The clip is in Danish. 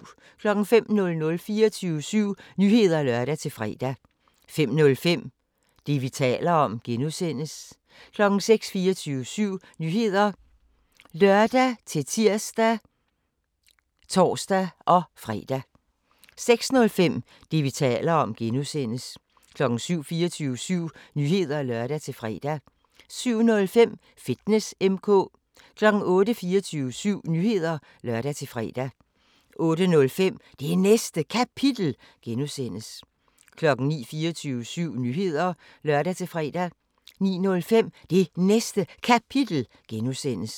05:00: 24syv Nyheder (lør-fre) 05:05: Det, vi taler om (G) 06:00: 24syv Nyheder (lør-tir og tor-fre) 06:05: Det, vi taler om (G) 07:00: 24syv Nyheder (lør-fre) 07:05: Fitness M/K 08:00: 24syv Nyheder (lør-fre) 08:05: Det Næste Kapitel (G) 09:00: 24syv Nyheder (lør-fre) 09:05: Det Næste Kapitel (G)